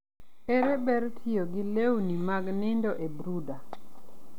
ere ber tiyo gi lewni mag nindo e brooder?